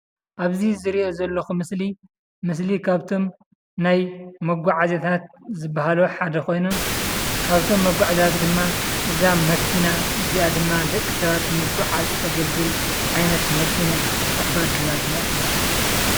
ኣብዚ ዝሪኦ ዘለኹ ምስሊ፡ ምስሊ ካብቶም ናይ መጓዓዝታት ዝባሃሉ ሓደ ኾይኑ ካብዞም መጓዓዝያታት ድማ እዛ መኪና እዚኣ ድማ ደቂ ሰባት ንምጉዕዓዝ ተገልግል ዓይነት መኪና እያ፡፡ ኣባዱላ ድማ ትባሃል፡፡